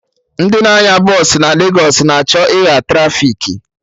Ndị na-anya bọsụ na Legos na achọ ịgha trafiki